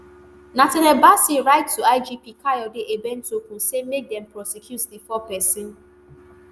nathaniel bassey write to igp kayode egbetokun say make dem prosecute di four pesin